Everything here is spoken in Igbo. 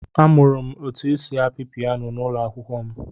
Amụrụ m otu esi apị piyano n'ụlọ akwụkwọ m.